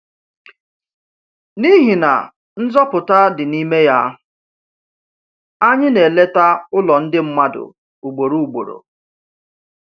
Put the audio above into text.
N’ihi na nzọpụta dị n’ime ya, anyị na-eleta ụlọ ndị mmadụ ugboro ugboro.